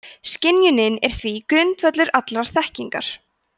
skynjunin er því grundvöllur allrar þekkingar